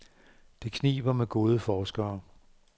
Det kniber med gode forskere.